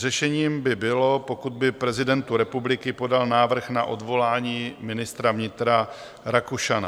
Řešením by bylo, pokud by prezidentu republiky podal návrh na odvolání ministra vnitra Rakušana.